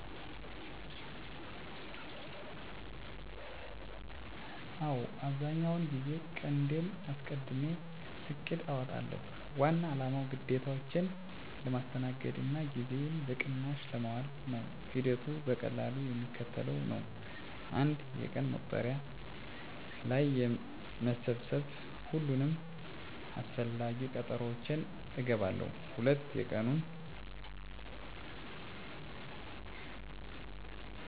አዎ፣ አብዛኛውን ጊዜ ቀንዴን አስቀድሜ እቅድ አውጣለሁ። ዋና አላማው ግዴታዎቼን ለማስተናገድ እና ጊዜዬን በቅናሽ ለማዋል ነው። ሂደቱ በቀላሉ የሚከተለው ነው፦ 1. የቀን መቁጠሪያ ላይ መሰብሰብ ሁሉንም አስፈላጊ ቀጠሮዎቼን እገባለሁ። 2. የቀኑን ተግባራት በዝርዝር መፃፍ ለቀኑ የምሰራባቸውን የተወሰኑ ነገሮች በዝርዝር ዝርዝር አዘጋጃለሁ። 3. ቅድም-ተከተል መግለጽ ከዝርዝሩ ውስጥ በጣም አስፈላጊ የሆኑትን ነገሮች በመጀመሪያ ለማድረግ እመልከታለሁ። ይህ ሂደት ነገሮችን በቀላሉ ለማስተናገድ እና ጊዜ ለማስተጋበን ይረዳኛል።